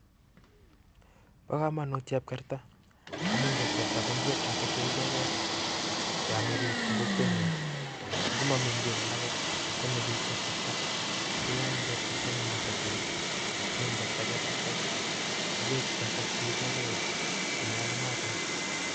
Pa kamanut chepkerta amun chepkerta KO ngwek chepo kamanut kot missing ako AME piik Eng. kokwenyuun